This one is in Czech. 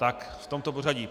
Tak v tomto pořadí.